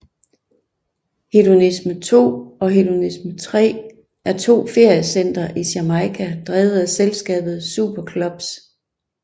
Hedonism II og Hedonism III er to feriecentre i Jamaica drevet af selskabet SuperClubs